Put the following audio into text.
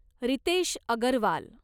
Riteish Agarwal